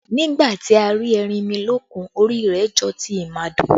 Nígbà tí a rí erinmilókun, orí rẹ jọ ti ìmàdò